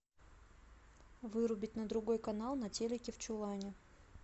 вырубить на другой канал на телике в чулане